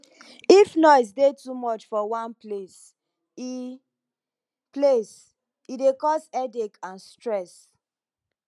if noise dey too much for one place e place e dey cos headache and stress